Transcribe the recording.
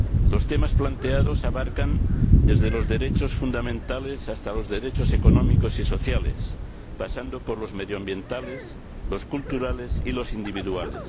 Los temas planteados abarcan desde los derechos fundamentales hasta los derechos económicos y sociales, pasando por los medioambientales, los culturales y los individuales.